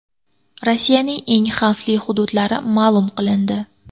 Rossiyaning eng xavfli hududlari ma’lum qilindi.